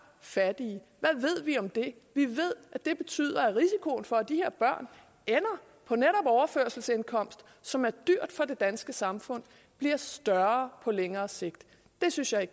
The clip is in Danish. fattige hvad ved vi om det vi ved at det betyder at risikoen for at de her børn ender på netop overførselsindkomst som er dyrt for det danske samfund bliver større på længere sigt det synes jeg